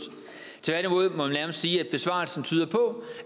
tværtimod må man nærmest sige at besvarelsen tyder på